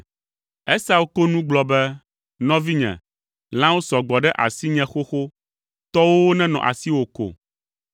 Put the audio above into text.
Esau ko nu gblɔ be, “Nɔvinye, lãwo sɔ gbɔ ɖe asinye xoxo; tɔwòwo nenɔ asiwò ko!”